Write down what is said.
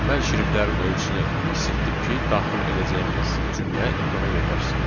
Mən şriftlərin ölçüsünü kiçiltdim ki, daxil edəcəyimiz cümlə ekrana yerləşsin.